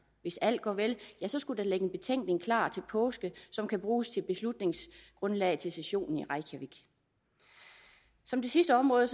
hvis alt går vel ja så skulle der ligge en betænkning klar til påske som kan bruges som beslutningsgrundlag til sessionen i reykjavík som det sidste område